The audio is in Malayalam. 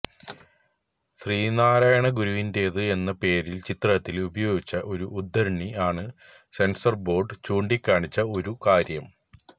ശ്രീനാരായണ ഗുരുവിന്റെത് എന്ന പേരില് ചിത്രത്തില് ഉപയോഗിച്ച ഒരു ഉദ്ധരണി ആണ് സെന്സര്ബോര്ഡ് ചൂണ്ടിക്കാണിച്ച ഒരു കാര്യം